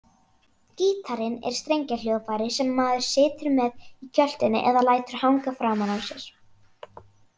Gítarinn er strengjahljóðfæri sem maður situr með í kjöltunni eða lætur hanga framan á sér.